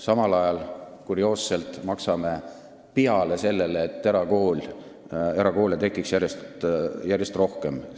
Samal ajal maksame kurioosselt peale sellele, et erakoole tekiks järjest rohkem.